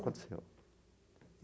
Aconteceu.